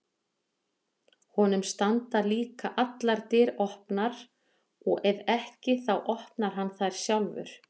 Honum standa líka allar dyr opnar og ef ekki þá opnar hann þær sjálfur.